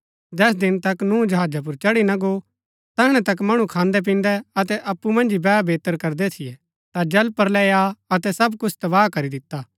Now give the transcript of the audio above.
जैस दिन तक नूह जहाजा पुर चढ़ी न गो तैहणै तक मणु खान्दैपिन्दै अतै अप्पु मन्ज ही बैहबेतर करदै थियै ता जल प्रलय आ अतै सब कुछ तबाह करी दिता